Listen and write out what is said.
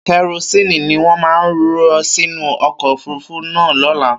Kẹrosínì ni wọ́n máa rọ sínu ọkọ̀ òfurufú náà lọ́la.